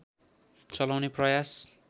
चलाउने प्रयास